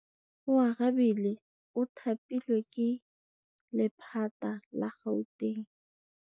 Oarabile o thapilwe ke lephata la Gauteng.